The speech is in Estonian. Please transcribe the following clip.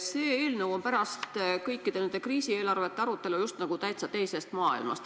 See eelnõu on pärast kõikide nende kriisieelarvete arutelu justkui täitsa teisest maailmast.